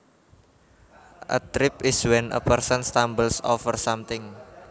A trip is when a person stumbles over something